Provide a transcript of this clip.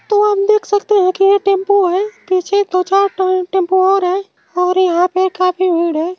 तो आप देख सकते हैं कि ये टेम्पू है पीछे दो चार टो टेम्पू और है और यहाँ पे काफी भीड़ है।